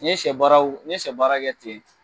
N ye sɛ baaraw n ye sɛ baara kɛ ten